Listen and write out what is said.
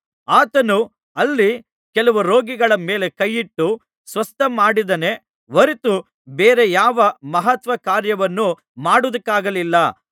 ಆತನು ಅಲ್ಲಿ ಕೆಲವು ರೋಗಿಗಳ ಮೇಲೆ ಕೈಯಿಟ್ಟು ಸ್ವಸ್ಥಮಾಡಿದನೇ ಹೊರತು ಬೇರೆ ಯಾವ ಮಹತ್ಕಾರ್ಯವನ್ನೂ ಮಾಡುವುದಕ್ಕಾಗಲಿಲ್ಲ